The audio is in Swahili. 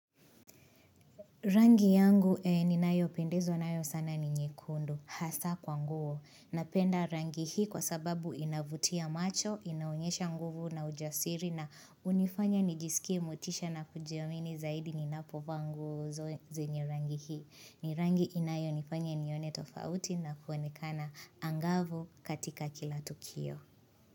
Rangi yangu ni nayo pendezwa nayo sana ni nyekundu hasa kwa nguo. Napenda rangi hii kwa sababu inavutia macho, inaonyesha nguvu na ujasiri na unifanya nijisikie motisha na kujiamini zaidi ni napovaa nguo zenye rangi hii. Ni rangi inayo nifanya nione tofauti na kuonekana angavu katika kila tukio.